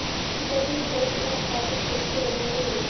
ticket भी भ्रष्ट और आपराधिक छवि के लोगों को देते हैं